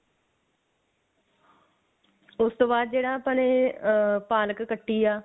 ਉਸ ਤੋਂ ਬਾਅਦ ਜਿਹੜਾ ਆਪਾਂ ਨੇ ਅਹ ਪਾਲਕ ਕੱਟੀ ਐ